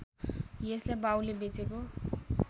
यसलाई बाउले बेचेको